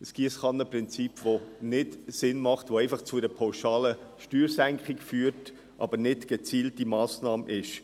ist ein Giesskannenprinzip, das nicht sinnvoll ist und einfach zu einer pauschalen Steuersenkung führt, aber keine gezielte Massnahme ist.